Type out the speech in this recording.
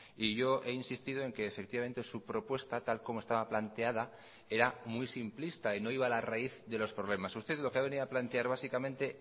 y yo he insistido en que efectivamente su propuesta tal como estaba planteada era muy simplista y no iba a la raíz de los problemas usted lo que ha venido a plantear básicamente